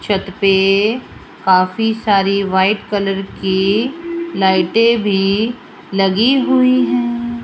छत पे काफी सारी व्हाइट कलर की लाइटें भी लगी हुईं हैं।